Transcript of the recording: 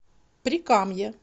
прикамье